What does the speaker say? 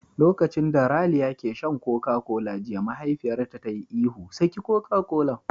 Lokacin da Raliya ke shan Koka kola jiya mahaifiyarta ta yi ihu "Saki Koka kolan nan!"